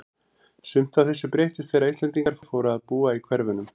Sumt af þessu breyttist þegar Íslendingar fóru að búa í hverfunum.